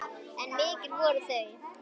En mikil voru þau.